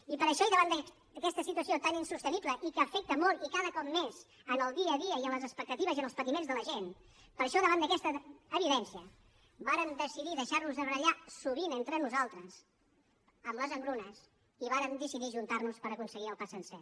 i per això i davant d’aquesta situació tan insostenible i que afecta molt i cada cop més en el dia a dia i en les expectatives i en els patiments de la gent per això davant d’aquesta evidència vàrem decidir deixarnos de barallar sovint entre nosaltres amb les engrunes i vàrem decidir ajuntarnos per aconseguir el pa sencer